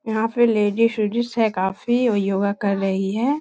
यहाँ पे लेडिज उडीज है काफी वो योगा कर रही है।